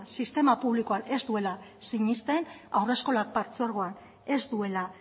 sistema publikoan ez duela sinesten haurreskolak partzuergoan ez duela